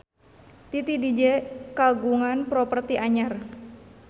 Titi DJ kagungan properti anyar